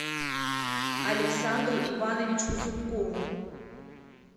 александру ивановичу зубкову